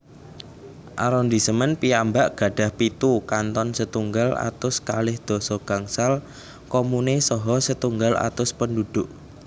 Arondisemen piyambak gadhah pitu kanton setunggal atus kalih doso gangsal komune saha setunggal atus penduduk